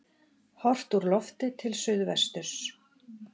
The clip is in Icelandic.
Horft úr lofti til suðvesturs.